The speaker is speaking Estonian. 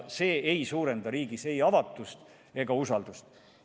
See ei suurenda riigis ei avatust ega usaldust.